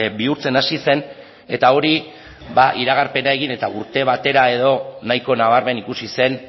bihurtzen hasi zen eta hori iragarpena egin eta urte batera edo nahiko nabarmen ikusi zen